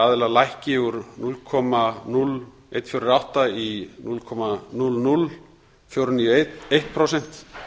aðila lækki úr núll komma núll eitt fjögur átta prósent í núll komma núll núll fjögur níu eitt prósent